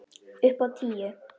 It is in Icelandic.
Upp á tíu!